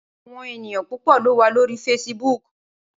Awòn éniyàn púpò ló wá lóri fésibùk